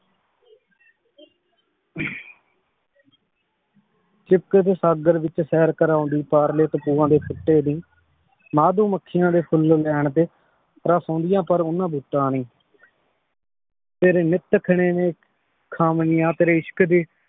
ਚਿਪਕ ਦੇ ਸਾਗਰ ਵਿਚ ਸੈਰ ਕਰਾਉਂਦੀ ਦੀ, ਮਧੂ ਮਖਿਯਾਂ ਦੇ ਫੁਲ ਲੈਣ ਤੇ ਰਸ ਔਨ੍ਦਿਯਾਂ ਪਰ ਓਹਨਾ ਦਿਤਾ ਨੀ ਤੇਰੇ ਨਿਤ ਖਾਵਣੀਆਂ ਤੇਰੇ ਇਸ਼ਕ਼ ਦੀ